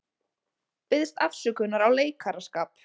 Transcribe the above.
Biðst afsökunar á leikaraskap